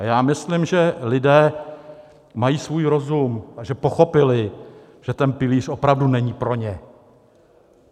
A já myslím, že lidé mají svůj rozum a že pochopili, že ten pilíř opravdu není pro ně.